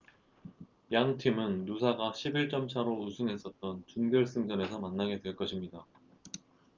양 팀은 누사가 11점 차로 우승했었던 준결승전에서 만나게 될 것입니다